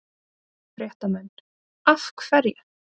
Fréttamenn: Af hverju?